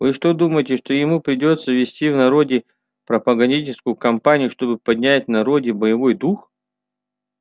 вы что думаете что ему придётся вести в народе пропагандистскую кампанию чтобы поднять в народе боевой дух